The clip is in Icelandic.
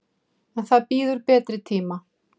En það bíður betri tíma.